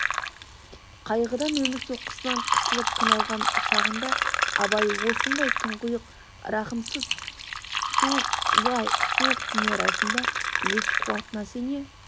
қайғыдан өмір соққысынан қысылып қиналған шағында абай осындай тұңғиық рахымсыз суық лай суық дүние арасында өз қуатына сене